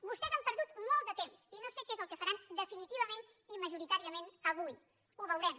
vostès han perdut molt de temps i no sé què és el que faran definitivament i majoritàriament avui ho veurem